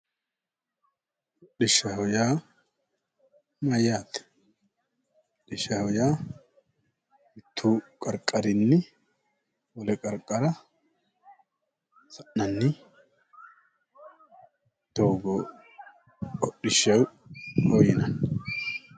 Hodhishshaho yaa mayaate? Hodhishshaho ya mittu qariqqarinni wole qariqqara sa'inanni doogo hodhishshaho yinani